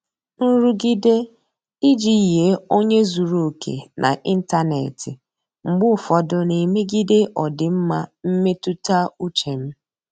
Nrụgide iji yie onye zuru oke n'ịntanetị mgbe ụfọdụ na-emegide ọdịmma mmetụta uche m.